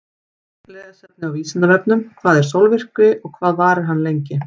Frekara lesefni á Vísindavefnum: Hvað er sólmyrkvi og hvað varir hann lengi?